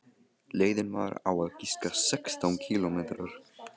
Leiðin var á að giska sextán kílómetrar.